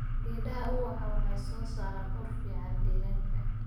Geedaha ubaxa waxay soo saaraan ur fiican deegaanka.